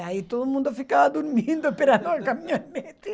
Aí todo mundo ficava dormindo, esperando a caminhonete.